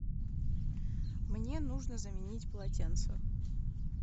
мне нужно заменить полотенца